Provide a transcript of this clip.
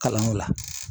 Kalanyɔrɔ la